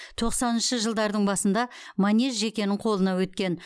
тоқсаныншы жылдардың басында манеж жекенің қолына өткен